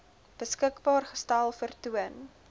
beskikbaar gestel vertoon